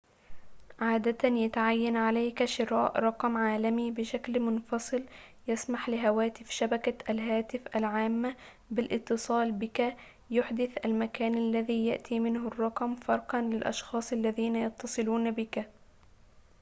عادةً يتعيّن عليك شراء رقم عالمي بشكل منفصل يسمح لهواتف شبكة الهاتف العامّة بالاتصال بك يُحدث المكان الذي يأتي منه الرّقم فرقاً للأشخاص الذين يتصلون بك